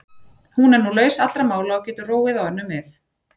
Hún er nú laus allra mála og getur róað á önnur mið.